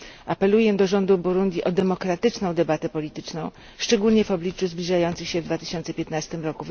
Apeluję do rządu Burundi o demokratyczną debatę polityczną, szczególnie w obliczu zbliżających się w 2015 r.